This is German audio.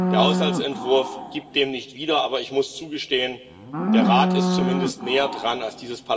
Der Haushaltsentwurf gibt dies nicht wieder, aber ich muss zugestehen, der Rat ist zumindest näher dran als